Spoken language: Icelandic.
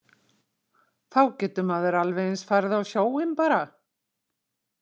Þá getur maður alveg eins farið á sjóinn bara.